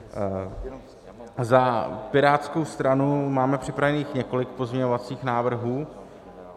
Za Pirátskou stranu máme připraveno několik pozměňovacích návrhů.